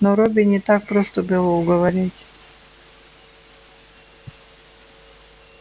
но робби не так просто было уговорить